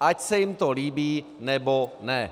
ať se jim to líbí, nebo ne.